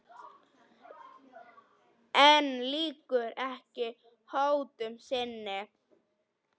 En lýkur ekki hótun sinni.